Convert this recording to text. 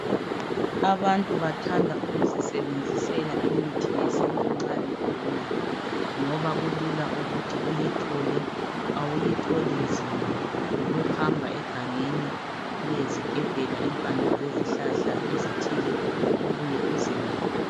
Abantu bathanda ukuzisebenzisela imithi yesintu nxa begula ngoba kulula ukuthi uyithole awuyitholi nzima yikuhamba egangeni uyezigebhela impande zezihlahla ezithile ubuye uzilaphe.